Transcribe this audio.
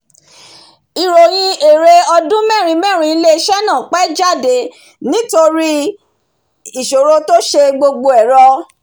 ìròyìn èrè ọdún mẹrin-mẹrin ilé iṣẹ náà pẹ́ jáde nítorí ìṣòro tó se gbogbo ẹ̀rọ